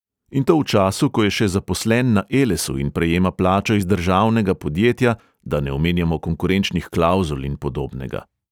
In to v času, ko je še zaposlen na elesu in prejema plačo iz državnega podjetja, da ne omenjamo konkurenčnih klavzul in podobnega.